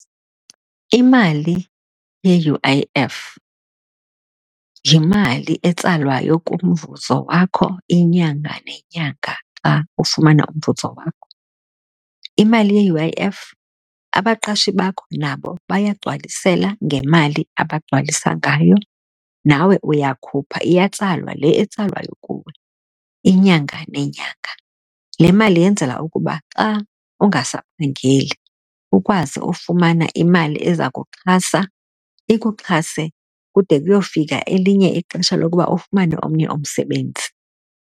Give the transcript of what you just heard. Imali ye-U_I_F yimali etsalwayo kumvuzo wakho inyanga nenyanga xa ufumana umvuzo wakho. Imali ye-U_I_F abaqashi bakho nabo bayagcwalisela ngemali abagcwalisa ngayo, nawe uyakhupha iyatsalwa le etsalwayo kuwe, inyanga nenyanga. Le mali yenzela ukuba xa ungasaphangeli ukwazi ufumana imali eza kuxhasa ikuxhaswe, kude kuyofika elinye ixesha lokuba ufumane omnye umsebenzi.